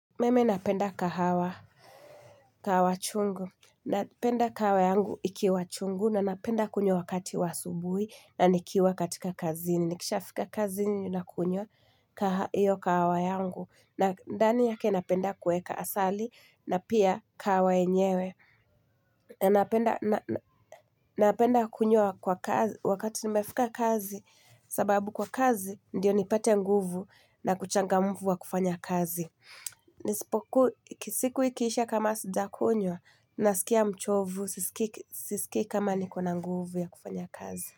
Mimi napenda kahawa, kahawa chungu, napenda kahawa yangu ikiwa chungu na napenda kunywa wakati wa asubuhi na nikiwa katika kazini, nikisha fika kazini na kunywa hiyo kahawa yangu na ndani yake napenda kuweka asali na pia kahawa yenyewe Napenda kunywa wakati nimefika kazi, sababu kwa kazi ndiyo nipate nguvu na kuchangamufu wa kufanya kazi Nisipoku, ki siku ikisha kama sujakunywa, nasikia mchovu, sisiki kama nikona nguvu ya kufanya kazi.